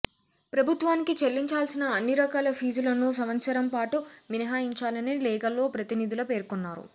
ప్రభుత్వానికి చెల్లించాల్సిన అన్ని రకాల ఫీజులను సంవత్సరం పాటు మినహాయించాలని లేఖలో ప్రతినిధులు పేర్కొన్నారు